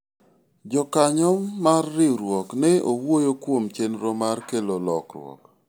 jokanyo mar riwruok ne owuoyo kuom chenro mar kelo lokruok